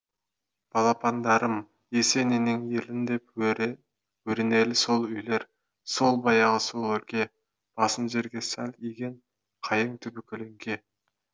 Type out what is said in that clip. балапандарым есениннің елінде бөренелі сол үйлер сол баяғы сол өлке басын жерге сәл иген қайың түбі көлеңке